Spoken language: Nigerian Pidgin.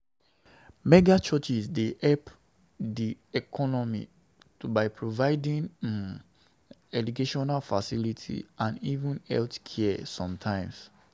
Mega churches dey help di economy by providing um educational facilities and even healthcare sometimes